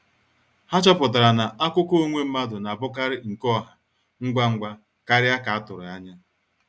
Há chọ̀pụtara na àkụ̀kọ̀ onwe mmadụ na-abụkarị nke ọ̀hà ngwa ngwa kárị à ka a tụrụ anya.